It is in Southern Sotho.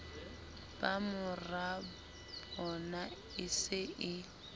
ba morabona e se e